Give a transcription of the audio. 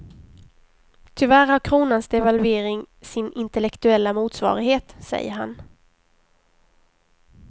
Tyvärr har kronans devalvering sin intellektuella motsvarighet, säger han.